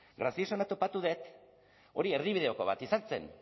graciosoena topatu dut hori erdibideko bat ezartzen